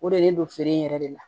O de bɛ ne don feere in yɛrɛ de la